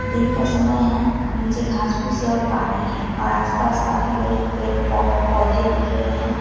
दिन का समय है नीचे घास फूस है और पानी है और आसपास काफी बड़े पे पो पौधे दिख रहे हैं।